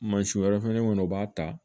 Mansin wɛrɛ fɛnɛ kɔnɔ u b'a ta